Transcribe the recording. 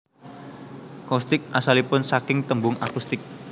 Coustic asalipun saking tembung acoustic